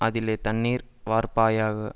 அதிலே தண்ணீர் வார்ப்பாயாக